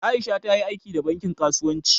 Aisha ta yi aiki da bankin kasuwanci.